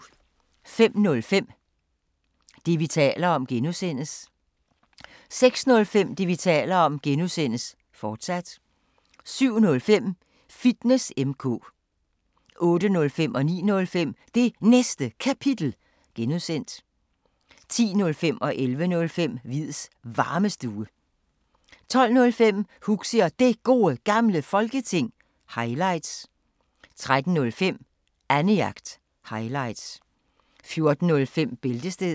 05:05: Det, vi taler om (G) 06:05: Det, vi taler om (G), fortsat 07:05: Fitness M/K 08:05: Det Næste Kapitel (G) 09:05: Det Næste Kapitel (G) 10:05: Hviids Varmestue 11:05: Hviids Varmestue 12:05: Huxi og Det Gode Gamle Folketing – highlights 13:05: Annejagt – highlights 14:05: Bæltestedet